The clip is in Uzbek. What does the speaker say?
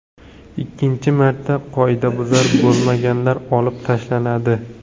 Ikkinchi marta, qoidabuzar bo‘lmaganlar olib tashlanadi.